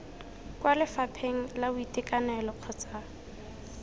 kwa lefapheng la boitekanelo kgotsa